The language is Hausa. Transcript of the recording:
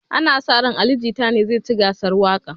Ana sa rai cewan ali jita ne zai ci gasar waƙan